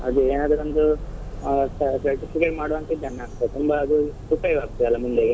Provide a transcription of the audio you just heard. ಅದೆ ಏನಾದ್ರು ಒಂದು ಆ ಮಾಡುವಂತದನ್ನ ತುಂಬ ಅದು ಉಪಯೋಗ ಆಗ್ತಾದೆ ಅಲ ಮುಂದೆಗೆ.